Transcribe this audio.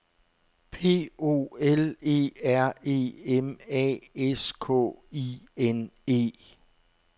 P O L E R E M A S K I N E